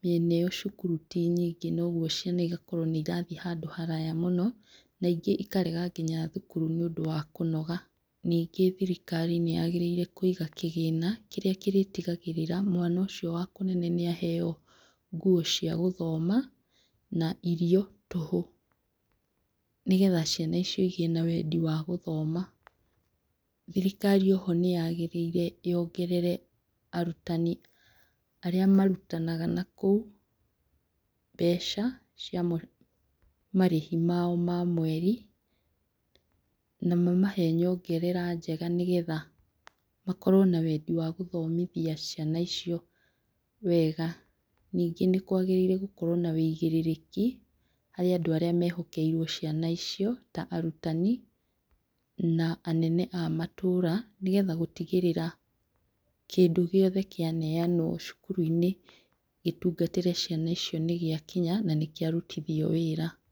mĩena ĩyo cukuru ti nyingĩ noguo ciana igakorwo nĩirathiĩ handũ haraya mũno, na ingĩ ikarega nginya thukuru nĩ ũndũ wa kũnoga, ningĩ thirikari nĩyagĩrĩire kũiga kĩgĩna kĩrĩa kĩrĩtigagĩra mwana ũcio wa kũnene nĩaheyo nguo cia gũthoma na irio tũhũ, nĩgetha ciana icio igĩe na wendi wa gũthoma, thirikari o ho nĩ yagĩrĩire yongerere arutani arĩa marutanaga na kũu, mbeca cia marĩhi mao ma mweri, na mamahe nyongerera njega, nĩgetha makorwo na wendi wa gũthomithia ciana icio wega, ningĩ nĩ kwagĩrĩirwo gũkorwo na wũigĩrĩrĩki harĩa andũ arĩ mehokeirwo ciana icio ta arutani na anene a matũra, nĩgetha gũtigĩrĩra kĩndũ gĩothe kĩaneanwo cukuru-inĩ gĩtungatĩre ciana icio nĩgĩakinya na nĩkĩa rutithio wĩra.